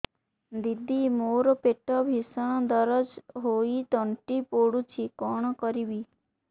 ଦିଦି ମୋର ପେଟ ଭୀଷଣ ଦରଜ ହୋଇ ତଣ୍ଟି ପୋଡୁଛି କଣ କରିବି